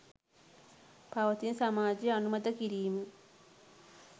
පවතින සමාජය අනුමත කිරීම